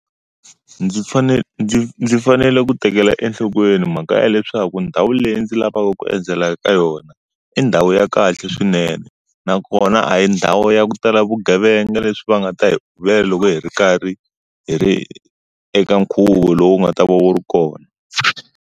Ndzi ndzi ndzi fanele ku tekela enhlokweni mhaka ya leswaku ndhawu leyi ndzi lavaka ku endzela eka yona, i ndhawu ya kahle swinene. Nakona a yi ndhawu ya ku tala vugevenga leswi va nga ta hi uvela loko hi ri karhi hi ri eka nkhuvo lowu nga ta va wu ri kona.